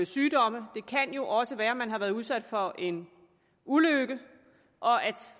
sygdomme det kan jo også være at man har været udsat for en ulykke og at